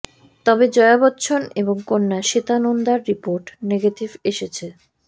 তবে জয়া বচ্চন এবং কন্যা শ্বেতা নন্দার রিপোর্ট নেগেটিভ এসেছে